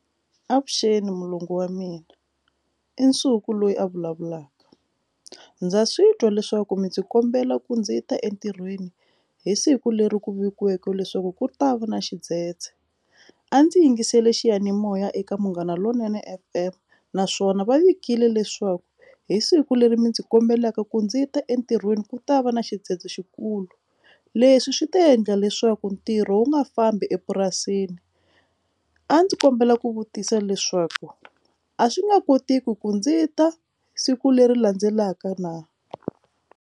Avuxeni mulungu wa mina i Nsuku loyi a vulavulaka ndza swi twa leswaku mi ndzi kombela ku ndzi ta entirhweni hi siku leri ku vekiweke leswaku ku ri ta va na xidzedze a ndzi yingiserile xiyanimoya eka munghana lonene F_M naswona va vekile leswaku hi siku leri mi ndzi kombelaka ku ndzi ta entirhweni ku ta va na xidzedze xikulu leswi swi ti endla leswaku ntirho wu nga fambi epurasini a ndzi kombela ku vutisa leswaku a swi nga kotiki ku ndzi ta siku leri landzelaka na.